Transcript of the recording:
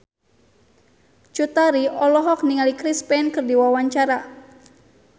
Cut Tari olohok ningali Chris Pane keur diwawancara